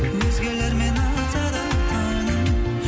өзгелермен атса да таңың